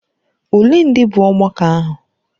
Ole ndị bụ ọgbakọ ahụ?